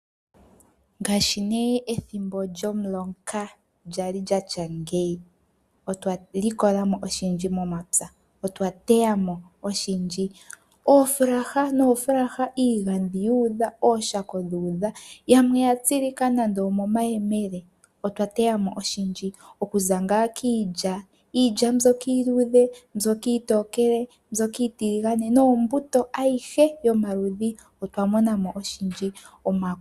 Ngashi ne ethimbo lyomuloka lyali lyatya ngeyi otwali kolamo oshindji momapya otwa teyamo oshindji. Oofulaha nofulaha, iigadhi yu udha, oshako dhu udha yamwe oya tsilika nande omo mayemele. Otwa teyamo oshindji oku za nga kiilya, iilya mbyoka iiludhe, iilya mbyoka iitokele, mbyoka iitiligane nombuto ayihe yomaludhi otwa monamo oshindji.